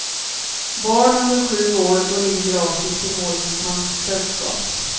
Barn under sju år går in gratis i målsmans sällskap.